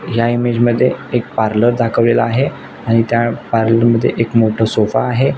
ह्या इमेज मधे एक पार्लर दाखवलेल आहे आणि त्या पार्लर मधे एक मोठ सोफा आहे.